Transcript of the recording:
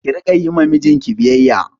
Ki Rika Yi wa mijinki biyayya